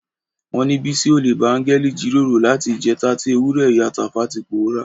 Wọ́n ní Bísí olè bá áńgẹ́lì jíròrò láti ìjẹta tí ewúrẹ́ ìyá Tàfá ti pòórá.